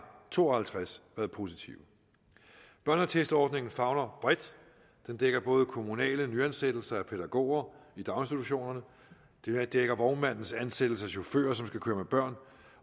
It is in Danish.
to og halvtreds været positive børneattestordningen favner bredt den dækker både kommunale nyansættelser af pædagoger i daginstitutionerne den dækker vognmandens ansættelse af chauffører som skal køre med børn